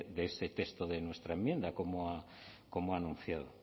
de ese texto de nuestra enmienda como ha anunciado